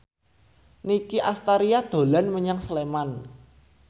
Nicky Astria dolan menyang Sleman